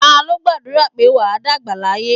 Ta ló gbàdúrà pé "wà á dàgbà láyé"?